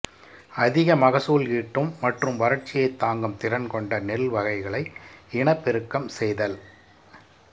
அதிக மகசூல் ஈட்டும் மற்றும் வறட்சியைத் தாங்கும் திறன் கொண்ட நெல் வகைகளை இனப்பெருக்கம் செய்தல்